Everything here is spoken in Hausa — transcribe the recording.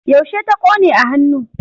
Yaushe ta ƙone a hannu?